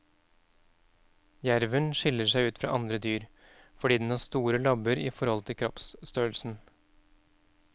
Jerven skiller seg ut fra andre dyr, fordi den har store labber i forhold til kroppsstørrelsen.